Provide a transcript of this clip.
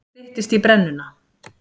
Nú styttist í brennuna.